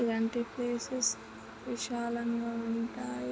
ఇలాంటి ప్లేసెస్ విశాలంగా ఉంటాయి.